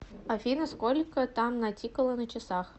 афина сколько там натикало на часах